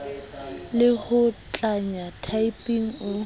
le ho tlanya typing o